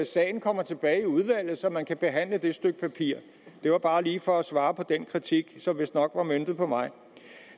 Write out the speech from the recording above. sagen kommer tilbage i udvalget så man kan behandle det stykke papir det var bare lige for at svare på den kritik som vistnok var møntet på mig